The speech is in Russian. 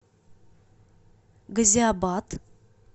газиабад